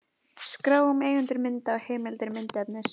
Skrá um eigendur mynda og heimildir myndefnis.